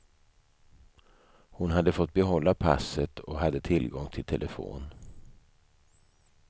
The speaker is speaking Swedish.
Hon hade fått behålla passet och hade tillgång till telefon.